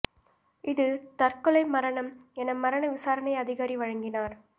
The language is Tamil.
இது தற்கொலை மரணம் என மரண விசாரணை அதிகாரி வழங்கினார்